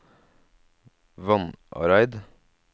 Vannareid